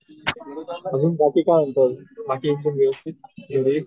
अजून बाकी काय बाकी सगळं व्यवस्थित घरी?